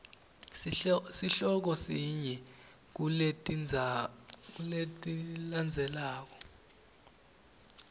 sihloko sinye kuletilandzelako